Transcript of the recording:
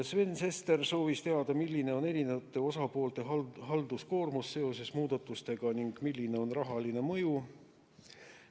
Sven Sester soovis teada, milline on eri poolte halduskoormus seoses muudatustega ning milline on rahaline mõju.